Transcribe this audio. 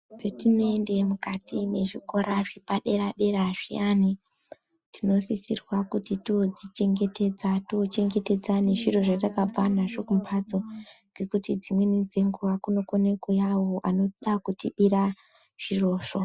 Petinoende mukati mwezvikora zvepadera-dera zviyani tinosisirwa kuti toodzichengetedza, tochengetedza nezviro zvatakabva nazvo kumbatso ngekuti dzimweni dzenguwa kunokone kuuya awo anoda kutibira zvirozvo.